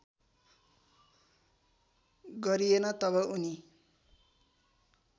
गरिएन तब उनी